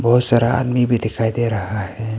बहुत सारा आदमी भी दिखाई दे रहा है।